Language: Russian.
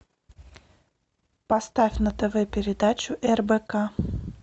поставь на тв передачу рбк